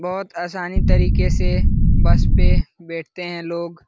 बहुत आसानी तरीके से बस पे बैठते हैं लोग।